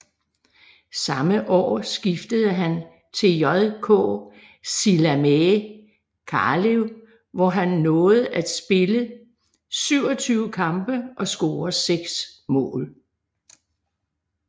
Samme år skiftede han til JK Sillamäe Kalev hvor han nåede at spille 27 kampe og score 6 mål